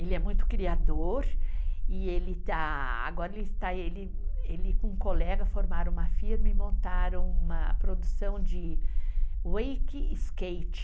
Ele é muito criador e ele está... Agora ele está... Ele e um colega formaram uma firma e montaram uma produção de wake skate.